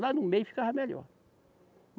Lá no meio ficava melhor.